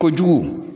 Kojugu